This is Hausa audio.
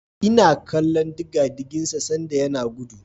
Ina kallon digadigin sa sanda yana gudu.